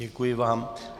Děkuji vám.